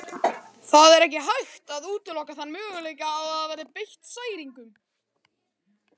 Það er ekki hægt að útiloka þann möguleika að ég hafi verið beitt særingum.